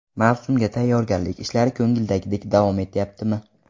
Mavsumga tayyorgarlik ishlari ko‘ngildagidek davom etyaptimi?